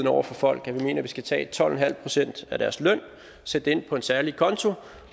over for folk at vi mener at vi skal tage tolv en halv procent af deres løn sætte det ind på en særlig konto